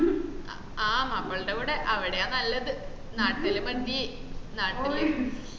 ആഹ് മാപ്പിളന്റെ കൂടെ അവട നല്ലത് നാട്ടില് മതി നാട്ടില്